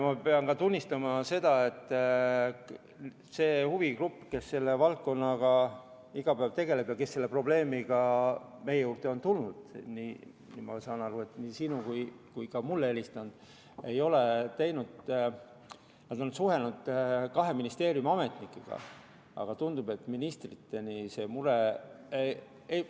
Ma pean ka tunnistama, et huvigrupp, kes selle valdkonnaga iga päev tegeleb ja kes on selle probleemiga meie juurde tulnud, nii sulle kui ka mulle helistanud, on ka suhelnud kahe ministeeriumi ametnikega, aga tundub, et ministriteni see mure ei jõua.